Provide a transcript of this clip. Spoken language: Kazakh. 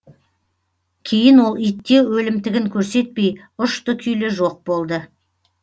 кейін ол итте өлімтігін көрсетпей ұшты күйлі жоқ болды